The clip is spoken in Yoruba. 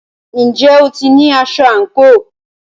Ǹjẹ́ o ti ní aṣọ àǹkóò?